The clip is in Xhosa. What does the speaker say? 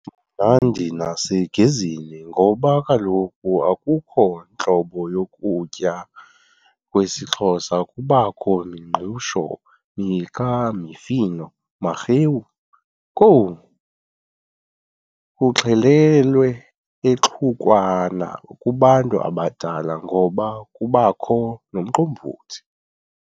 mnandi nasegezeni ngoba kaloku akukho ntlobo yokutya kwesiXhosa kubakho mingqusho, miqa, mifino, marhewu, kwowu! kuxhelelwe exhukwana kubantu abadala ngoba kubakho nomqombothi.